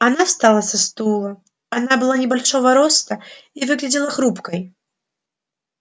она встала со стула она была небольшого роста и выглядела хрупкой